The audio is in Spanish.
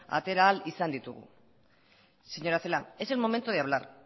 atera ahal ditugu señora celaá es el momento de hablar